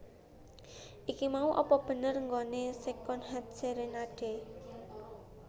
Iki mau apa bener nggone Secondhand Serenade?